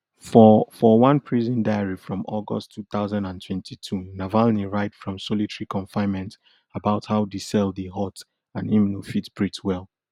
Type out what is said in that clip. for for one prison diary from august two thousand and twenty-two navalny write from solitary confinement about how di cell dey hot and im no fit breathe well